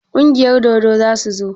Kungiyar dodo za su zo?